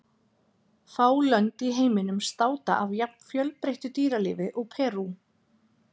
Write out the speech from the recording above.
Fá lönd í heiminum státa af jafn fjölbreyttu dýralífi og Perú.